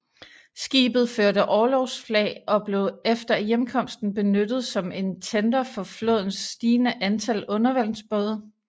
Skibet førte orlogsflag og blev efter hjemkomsten benyttet som en tender for flådens stigende antal undervandsbåde